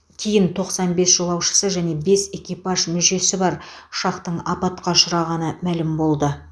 кейін тоқсан бес жолаушысы және бес экипаж мүшесі бар ұшақтың апатқа ұшырағаны мәлім болды